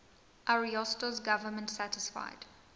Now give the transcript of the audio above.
ariosto's government satisfied